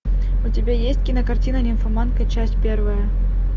у тебя есть кинокартина нимфоманка часть первая